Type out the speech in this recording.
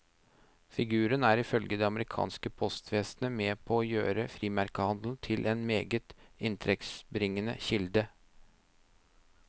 Figuren er ifølge det amerikanske postvesenet med på å gjøre frimerkehandelen til en meget inntektsbringende kilde.